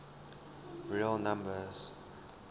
real numbers